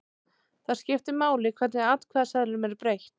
Þá skiptir máli hvernig atkvæðaseðlinum er breytt.